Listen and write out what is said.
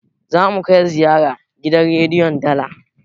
zamu kai ziyara gidan rediyon dala